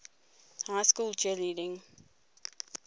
high school cheerleading